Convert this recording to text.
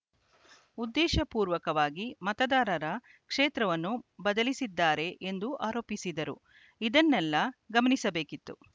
ಉದ್ದೇಶ ಪೂರ್ವಕವಾಗಿ ಮತದಾರರ ಕ್ಷೇತ್ರವನ್ನು ಬದಲಿಸಿದ್ದಾರೆ ಎಂದು ಆರೋಪಿಸಿದರು ಇದನ್ನೆಲ್ಲ ಗಮನಿಸಬೇಕಿತ್ತು